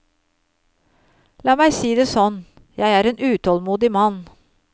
La meg si det sånn, jeg er en utålmodig mann.